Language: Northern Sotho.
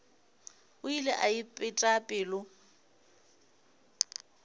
o ile a ipeta pelo